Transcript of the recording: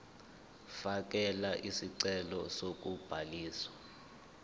fakela isicelo sokubhaliswa